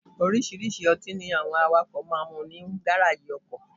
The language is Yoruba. Oríṣiríṣi ọtí ni àwọn awakọ́ máa ń mu ní Gárájì ọkọ̀.